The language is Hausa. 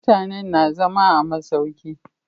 Mutanen na zama a masauki